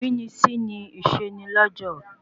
Ìrínisí nìse ni lọ́jọ̀